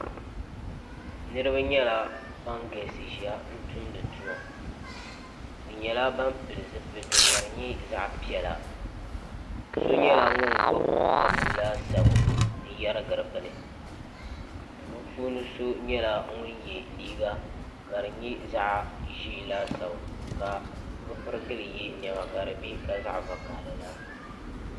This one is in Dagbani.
niraba nyɛla ban galisi ʒiya n tumdi tuma bi nyɛla ban pili zipiliti ka di nyɛ zaɣ piɛla so nyɛla ŋun gbubi papu laasabu n yɛrigiri bini bipuuni so nyɛla ŋun yɛ liiga ka di nyɛ zaɣ ʒiɛ laasabu ka bi pirigili yɛ niɛma ka di bɛ ka zaɣ vakaɣali laasabu